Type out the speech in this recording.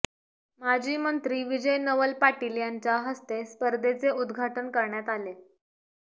माजी मंत्री विजय नवल पाटील यांच्या हस्ते स्पर्धेचे उद्घाटन करण्यात आले